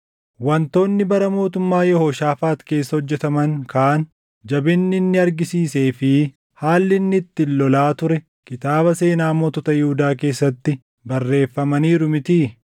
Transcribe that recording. Wantoonni bara mootummaa Yehooshaafaax keessa hojjetaman kaan, jabinni inni argisiisee fi haalli inni itti lolaa ture kitaaba seenaa mootota Yihuudaa keessatti barreeffamaniiru mitii?